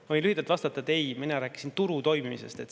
Ma võin lühidalt vastata, et ei, mina rääkisin turu toimimisest.